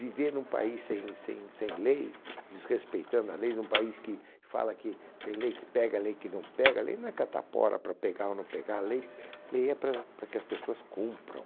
Viver num país sem sem sem lei, desrespeitando a lei, num país que fala que tem lei que pega, lei que não pega, lei não é catapora para pegar ou não pegar, lei lei é para para que as pessoas cumpram.